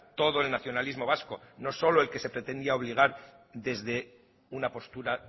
todo el nacionalismo vasco no solo el que se pretendía obligar desde una postura